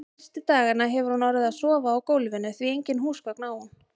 Fyrstu dagana hefur hún orðið að sofa á gólfinu, því engin húsgögn á hún.